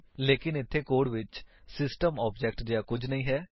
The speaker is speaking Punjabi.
ਲੇਕਿਨ ਇੱਥੇ ਕੋਡ ਵਿੱਚ ਸਿਸਟਮ ਆਬਜੇਕਟ ਜਿਹਾ ਕੁੱਝ ਨਹੀਂ ਹੈ